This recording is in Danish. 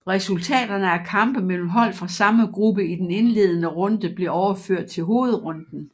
Resultaterne af kampe mellem hold fra samme gruppe i den indledende runde blev overført til hovedrunden